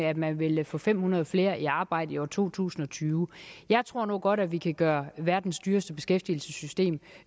at man vil få fem hundrede flere i arbejde i år to tusind og tyve jeg tror nu godt at vi kan gøre verdens dyreste beskæftigelsessystem